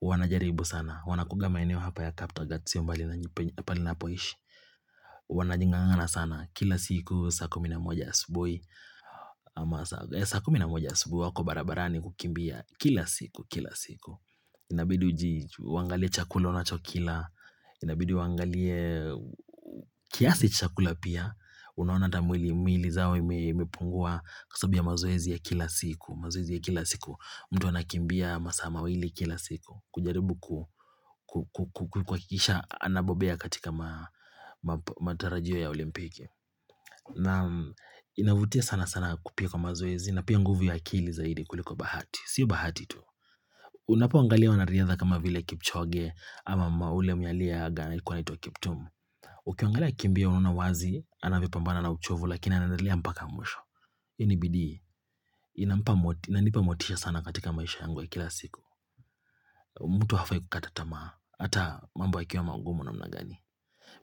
wanajaribu sana. Wanakuanga eneo hapa ya Kaptagat sio mbali na pale napoishi. Wanajing'ang'ana sana, kila siku saa kumi na moja asubuhi ama saa saa kumi na moja asubuhi wako barabarani kukimbia, kila siku kila siku. Inabidi uangalie chakula unachokila, inabidi uangalie kiasi chakula pia. Unaona hata mwili yao imepungua kwa sababu ya mazoezi ya kila siku. Mtu anakimbia masaa kila siku kujaribu kuhakikisha anabombea katika matarajio ya olimpiki na inavutia sana sana kupiga mazoezi na pia nguvu ya akili zaidi kuliko bahati. Sio bahati tu, unapoangalia wanariadha kama vile Kipchoge ama yule mwenye aliaga alikuwa anaitwa Kiptum Ukiangalia akimbia unaona wazi anavyopambana na uchovu lakini anaendelea mpaka mwisho. Hii ni bidii, inanipa motisha sana katika maisha yangu ya kila siku mtu hafai kukata tamaa, ata mambo yakiwa mangumu namna gani.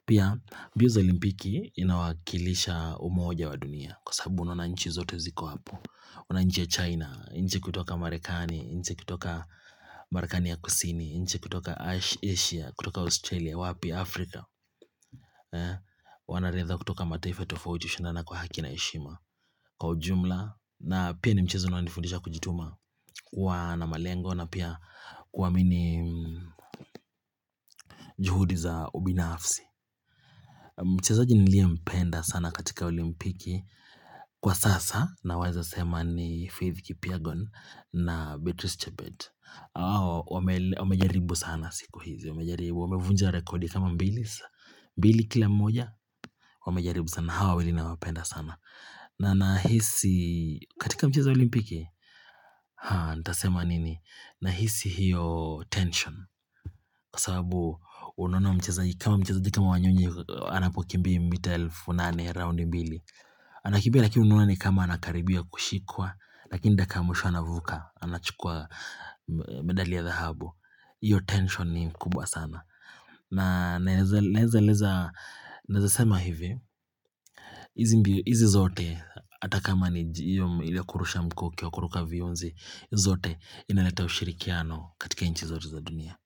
Pia, mbio za olimpiki inawakilisha umoja wa dunia kwa sababu unaona nchi zote ziko hapo. Wananchi ya China, nchi kutoka Marekani, nchi kutoka Marekani ya Kusini, nchi kutoka Asia, kutoka Australia, wapi, Afrika Wanariadha kutoka mtaifa tofauti hushindana kwa haki na heshima. Kwa ujumla, na pia ni mchezo unaonifundisha kujituma kuwa na malengo na pia kuamini juhudi za ubinafsi. Mchezaji niliyempenda sana katika olimpiki kwa sasa, naweza sema ni Faith Kipyegon na Beatrice Chebet. Hao wamejaribu sana siku hizi. Wamevunja rekodi kama mbili kila mmoja. Wamejaribu sana hawa wawili. Nawapenda sana. Na nahisi katika michezo ya olimpiki. Nitasema nini? Nahisi hiyo tension, kwa sababu unaona mchezaji kama Wanyonyi anapokimbia mita elfu nane, round mbili. Anakimbia lakini unaona ni kama anakaribia kushikwa, lakini dakika ya mwisho anavuka, anachukua medali ya dhahabu. Hiyo tension ni kubwa sana. Na naweza sema hivi, hizi hizi zote hata kama ni hiyo kurusha mkuki, au kuruka vionzi. Hizo zote inaleta ushirikiano katika nchi zote za dunia.